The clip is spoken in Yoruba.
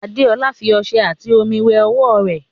Adeola fi ọṣẹ ati omi wẹ ọwọ rẹ